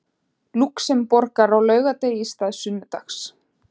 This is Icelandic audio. Lúxemborgar á laugardegi í stað sunnudags.